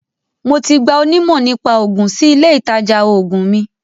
Mo ti gba onímọ̀-nípa-oògun sí ilé-ìtajà oògùn mi.